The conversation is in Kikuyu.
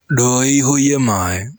Ndoo ĩihũie maĩ.